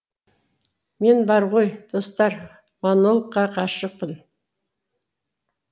мен бар ғой достар монологқа ғашықпын